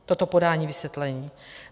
Toto podání vysvětlení.